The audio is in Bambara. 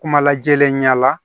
Kuma lajɛnlen ɲɛ la